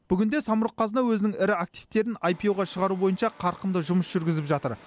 бүгінде самұрық қазына өзінің ірі активтерін іро ға шығару бойынша қарқынды жұмыс жүргізіп жатыр